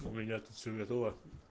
у меня тут все готово